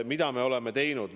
Mida me oleme teinud?